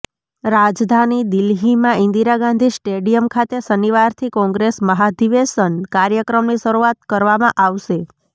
રાજધાની દિલ્હીમાં ઇન્દિરા ગાંધી સ્ટેડિયમ ખાતે શનિવારથી કોંગ્રેસ મહાધિવેશન કાર્યક્રમની શરૂઆત કરવામાં આવશે